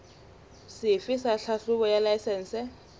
sefe sa tlhahlobo ya laesense